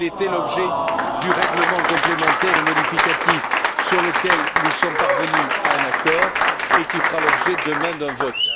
Tel était l'objet du règlement complémentaire et modificatif sur lequel nous sommes parvenus à un accord et qui fera l'objet demain d'un vote.